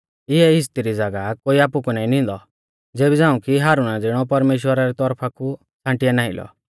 इऐ इज़्ज़ती री ज़ागाह कोई आपु कु नाईं निंदौ ज़ेबी झ़ांऊ कि हारुना ज़िणौ परमेश्‍वरा री तौरफा कु छ़ांटिया नाईं लौ